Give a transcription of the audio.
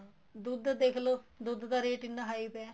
ਦੁੱਧ ਦੇਖਲੋ ਦੁੱਧ ਦਾ ਰੇਟ ਕਿੰਨਾ high ਪਿਆ